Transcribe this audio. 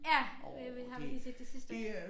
Ja det vi har vi lige set det sidste af